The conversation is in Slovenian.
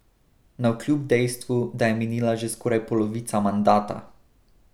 Navkljub dejstvu, da je minila že skoraj polovica mandata!